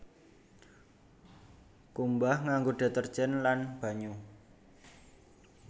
Kumbah nganggo deterjen lan banyu